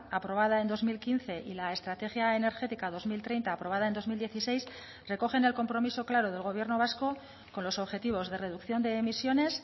aprobada en dos mil quince y la estrategia energética dos mil treinta aprobada en dos mil dieciséis recogen el compromiso claro del gobierno vasco con los objetivos de reducción de emisiones